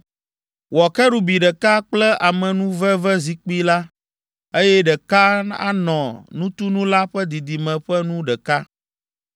Wɔ kerubi ɖeka kple amenuvevezikpui la, eye ɖeka anɔ nutunu la ƒe didime ƒe nu ɖeka.